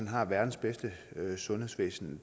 har verdens bedste sundhedsvæsen